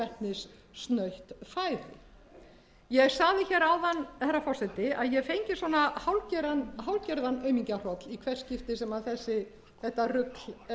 kolvetnissnautt fæði ég sagði hér áðan herra forseti að ég fengi svona hálfgerðan aumingjahroll í hvert skipti sem þetta rugl